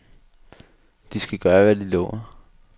De skal gøre, hvad de lover.